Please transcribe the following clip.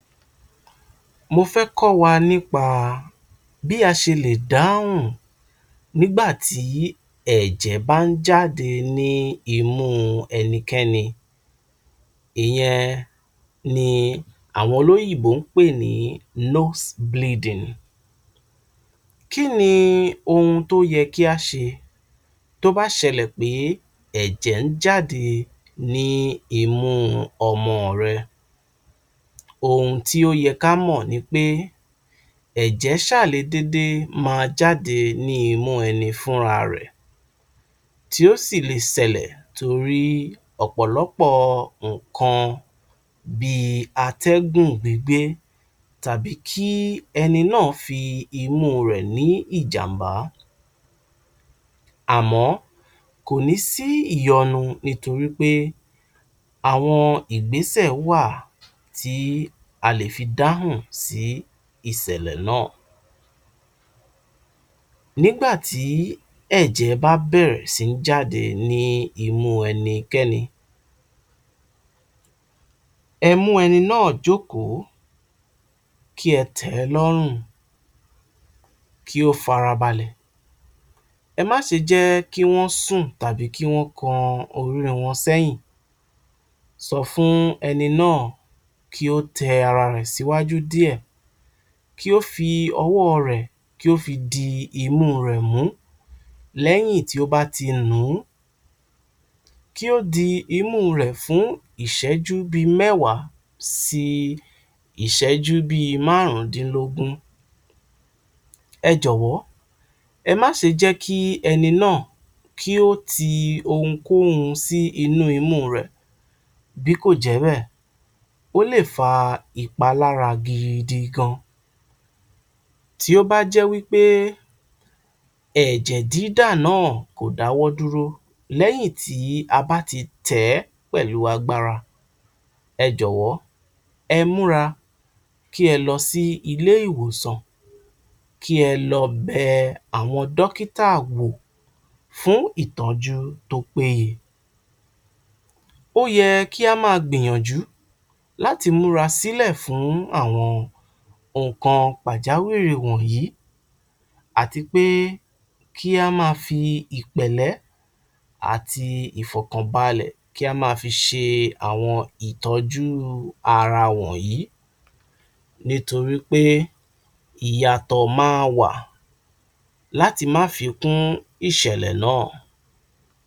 Mo fẹ́ kọ́ wa nípa bí a ṣe lè dáhùn nígbà tí ẹ̀jẹ̀ bá ń jáde ní imú ẹnikẹ́ni. Ìyẹn ní àwọn olóyìnbó ń pè ní Nose Bleeding. Kí ni ohun tó yẹ kí a ṣe tó bá ṣẹlẹ̀ pé ẹ̀jẹ̀ ń jáde ní imú ọmọ rẹ? Ohun tó yẹ ká mọ̀ ni pé ẹ̀jẹ̀ ṣà lè dédé máa jáde ní imú ẹni fúnra rẹ̀ tó sì lè ṣẹlẹ̀, torí ọ̀pọ̀lọpọ̀ nǹkan bí i atẹ́gùn gbígbé tàbí ẹni náà fi imú rẹ̀ ní ìjàm̀bá. Àmọ́, kò ní sí ìyọnu nítorí wípé àwọn ìgbẹ́sẹ̀ wà tí a lè fi dáhùn sí ìṣẹ̀lẹ̀ náà. Nígbà tí ẹ̀jẹ̀ bá bẹ̀rẹ̀ sí ní jáde ní imú ẹnikẹ́ni, ẹ mú ẹni náà jókòó, kí ẹ tẹ̀ ẹ́ lọ́rùn, kí ó farabalẹ̀, ẹ má ṣe jẹ́ kí wọ́n sùn tàbí kí wọ́n kọ orí wọn sẹ́yìn, sọ fún ẹni náà kí ó tẹ ara rẹ̀ síwájú díẹ̀, kí ó fi ọwọ́ rẹ̀ kí ó fi di imú rẹ̀ mú, lẹ́yìn tí ó bá ti nù ún, kí ó di imú rẹ̀ fún bí i ìṣẹ́jú mẹ́wàá sí ìṣẹ́jú márùndínlógún, ẹ jọ̀wọ́, ẹ má ṣe jẹ́ kí ẹni náà kí ó ti ohun kóhun sínú imú rẹ̀, bí kò jẹ́ bẹ́ẹ̀, ó lè fa ìpalára gidi gan-an. Tí ó bá jẹ́ wípé ẹ̀jẹ̀ dídà náà kò dáwọ́ dúró lẹ́yìn tí a bá ti tẹ̀ ẹ́ pẹ̀lú agbára, ẹ jọ̀wọ́, ẹ múra kí ẹ lọ sí ilé ìwòsàn, kí ẹ lọ bẹ àwọn dókítà wò fún ìtọ́jú tó péye. Ó yẹ kí á máa gbìyànjú láti múra sílẹ̀ fún àwọn nǹkan pàjáwìrì wọ̀nyí àti pẹ kí a máa fi ìpẹ̀lẹ́ àti ìfọ̀kànbalẹ̀ kí a máa fi ṣe àwọn ìtọ́jú ara wọ̀nyí, nítorí pé ìyàtọ̀ máa wà láti má fi kún ìṣẹ̀lẹ̀ náà.